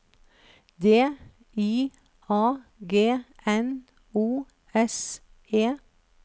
D I A G N O S E